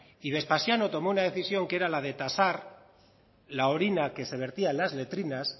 y vespasiano tomó una decisión que era la de tasar la orina que se vertía en las letrinas